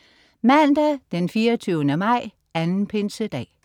Mandag den 24. maj. 2. pinsedag